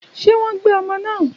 Ṣé wọ́n gbé ọmọ náà?